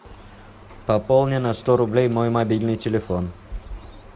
пополни на сто рублей мой мобильный телефон